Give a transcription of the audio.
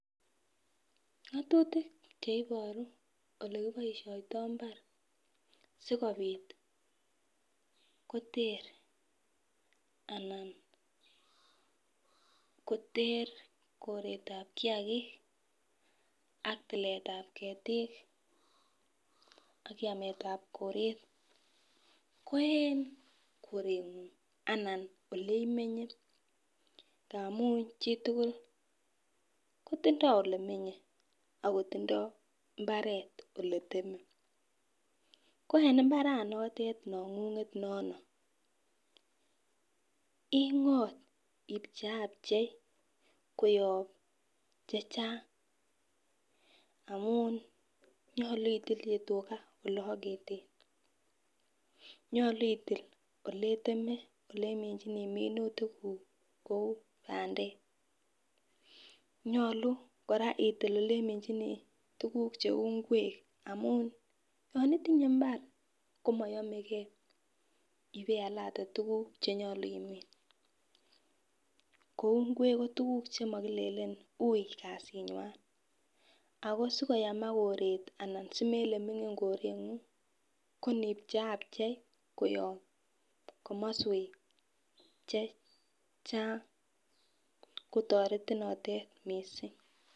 Nyosutik cheiboru ilekiboishoto imabar sikopit kotee anan kotee koretab kiyagik ak tiletab ketik ak yametab koret ko en korengung anan oleimenye ngamun chitukul kotindo ilemenye ak kotindo imbaret ole teme koen imabaranotet nongunget nono ingot ipcheiapchei koyob chechang amun nyolu itulji tugaa oleoketen, nyolu itil ole iteme ole iminchinii minutik kuk kou pandek, nyolu koraa itil ilei iminchinii tukuk cheu ingwek amun yon itinye imbar komoyomegee ibealate tukuk chenyolu imin kou ingwek komo tukuk chekilelen ui kasinywan ako sikoyamak koret anan simple mingin korengung konipcheiapchei koyob komoswek chechang kotoretin notet missing.